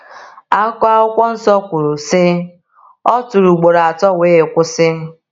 Akụkọ Akwụkwọ Nsọ kwuru sị: “O tụrụ ugboro atọ wee kwụsị.